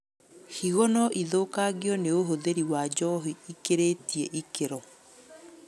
Higo noithũkangio nĩ ũhũthĩri wa njohi ĩkĩrĩtie ikĩro